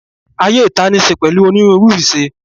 Ayé ìta níí ṣe pẹ̀lú onírúurú ìṣe